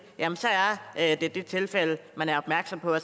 jamen så er det det tilfælde man er opmærksom på